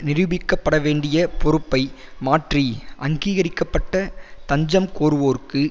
நிரூபிக்கப்பட வேண்டிய பொறுப்பை மாற்றி அங்கீகரிக்க பட்ட தஞ்சம் கோருவோருக்கு